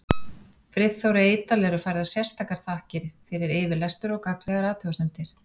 Friðþóri Eydal eru færðar sérstakar þakkir fyrir yfirlestur og gagnlegar athugasemdir.